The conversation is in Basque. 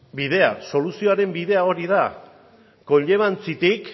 bidea soluzioaren bidea hori da conllevanciatik